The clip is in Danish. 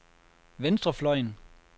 venstrefløjen